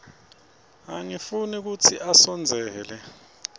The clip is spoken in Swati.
angifuni kutsi asondzele